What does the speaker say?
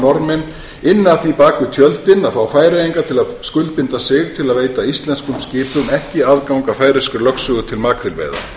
norðmenn ynnu að því bak við tjöldin að fá færeyinga til að skuldbinda sig til að veita íslenskum skipum ekki aðgang að færeyskri lögsögu til makrílveiða